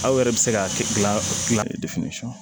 Aw yɛrɛ bɛ se ka gilan